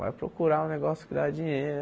Vai procurar um negócio que dá